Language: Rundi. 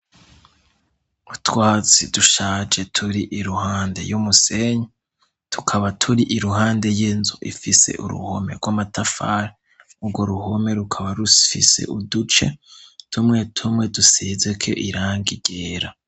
utwatsi dushaje turi iruhande y'umusenyi tukaba turi iruhande y'inzu ifise uruhome rw'amatafari ugo ruhome rukaba rufise uduce tumwe tumwe dusezeko irangi ryera